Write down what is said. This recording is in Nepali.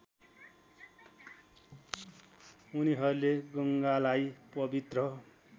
उनीहरूले गङ्गालाई पवित्र